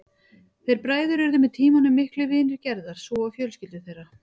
Þeir bræður urðu með tímanum miklir vinir Gerðar svo og fjölskyldur þeirra.